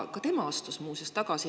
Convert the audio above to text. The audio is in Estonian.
Tema astus muuseas ka tagasi.